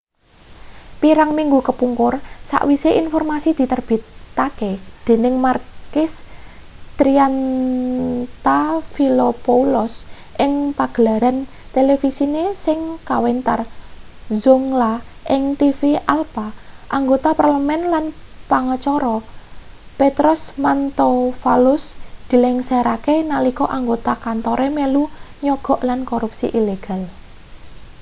pirang minggu kepungkur sawise informasi diterbitake dening makis triantafylopoulos ing pagelaran televisine sing kawentar zoungla ing tv alpha anggota parlemen lan pengacara petros mantouvalos dilengserake nalika anggota kantore melu nyogok lan korupsi ilegal